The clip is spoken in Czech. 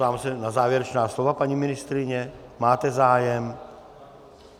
Ptám se na závěrečná slova - paní ministryně, máte zájem?